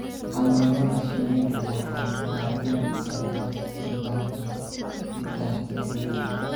Xannaanada shinnidu waxay baabi'in kartaa nidaamka hidaha ee dhirta.